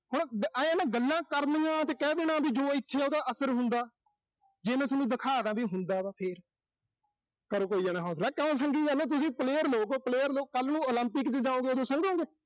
ਆਏਂ ਆ ਨਾ, ਗੱਲਾਂ ਕਰਨੀਆਂ ਤੇ ਕਹਿ ਦੇਣਾ ਵੀ ਜਦੋਂ ਇਥੇ ਆ ਉਹਦਾ ਅਸਰ ਹੁੰਦਾ। ਜੇ ਮੈਂ ਸੋਨੂੰ ਦਿਖਾ ਦਾਂ ਵੀ, ਹੁੰਦਾ ਗਾ ਫਿਰ ਕਰੋ ਕੋਈ ਜਾਣਾ ਹੌਸਲਾ, ਕਿਉਂ ਸੰਗੀ ਜਾਨੇ ਓਂ, ਤੁਸੀਂ player ਲੋਕ ਓਂ, player ਲੋਕ, ਕੱਲ੍ਹ ਨੂੰ Olympic ਚ ਜਾਓਂਗੇ, ਉਥੇ ਸੰਗੋਂ ਗੇ।